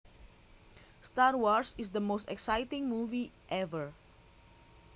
Star Wars is the most exciting movie ever